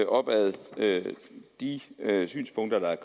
op ad de synspunkter der er